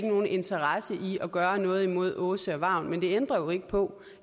nogen interesse i at gøre noget imod åse og vagn men det ændrer jo ikke på